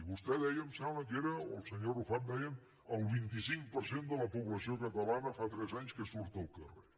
vostè deia em sembla que era o el senyor arrufat deia el vint cinc per cent de la població catalana fa tres anys que surt al carrer